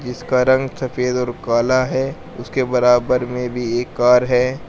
जिसका रंग सफेद और काला है उसके बराबर में भी एक कार है।